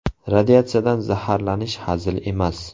Radiatsiyadan zaharlanish hazil emas.